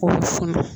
K'o suman